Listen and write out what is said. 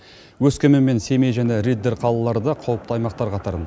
өскемен мен семей және риддер қалалары да қауіпті аймақтар қатарында